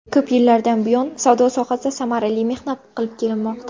Ko‘p yillardan buyon savdo sohasida samarali mehnat qilib kelmoqda.